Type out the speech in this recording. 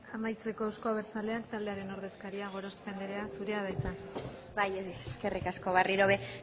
amaitzeko euzko abertzaleak talderen ordezkaria gorospe andrea zurea da hitza bai eskerrik asko berriro ere